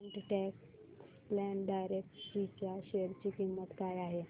quant tax plan direct G च्या share ची किंमत काय आहे